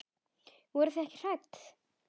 Voruð þið ekkert hrædd?